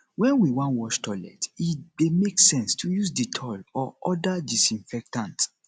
when we wan wash toilet e dey make sense to use dettol or oda disinfectant